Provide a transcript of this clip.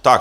Tak.